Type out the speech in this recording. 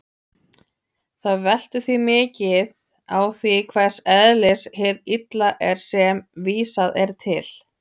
Það veltur því mikið á því hvers eðlis hið illa er sem vísað er til.